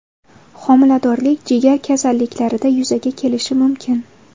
Homiladorlik, jigar kasalliklarida yuzaga kelishi mumkin.